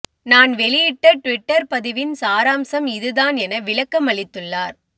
நான் வெளியிட்ட ட்விட்டர் பதிவின் சாராம்சம் இது தான் என விளக்கமளித்துள்ளார்